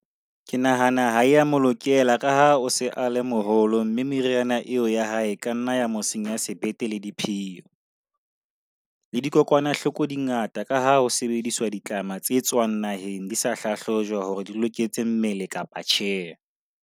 Ke nahana ha ea mo lokela ka ha o se a le moholo, mme meriana eo ya hae ka nna ya mo senya sebete le diphio. Le dikokwanahloko di ngata ka ha ho sebediswa ditlama tse tswang naheng di sa hlahlojwa hore di loketse mmele kapa tjhe.